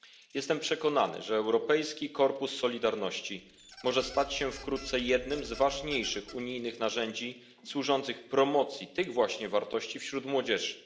Jestem przekonany, że Europejski Korpus Solidarności może stać się wkrótce jednym z ważniejszych unijnych narzędzi służących promocji tych właśnie wartości wśród młodzieży.